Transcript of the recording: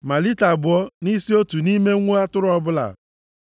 ma lita abụọ nʼisi otu nʼime nwa atụrụ ọbụla.